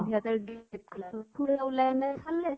সিহঁতৰ grill খোলা খুঢ়া ওলাই ওলাই চালে।